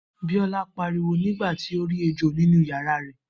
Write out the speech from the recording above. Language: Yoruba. Biola pariwo nígbà tí ó rí ejò nínú yàrá rẹ̀